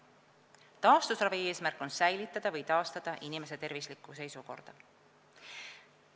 Taastusravi eesmärk on säilitada või taastada inimese tervislikku seisukorda.